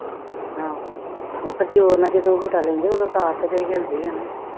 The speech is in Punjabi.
ਆਹੋ ਉਹ ਫਿਰ ਜੋਰ ਨਾਲ ਜਦੋਂ ਝੂਟਾ ਲੈਂਦੇ ਉਦੋਂ ਤਾਰ ਤੇ ਹਿੱਲਦੀ ਆ ਨਾ